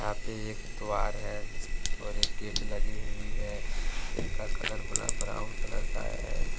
पे एक द्वार है जिसके और एक गेट लगी हुई है जिनका कलर बला ब्राउन कलर का है।